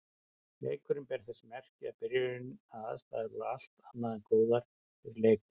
Leikurinn bar þess merki í byrjun að aðstæður voru allt annað en góðar fyrir leikmenn.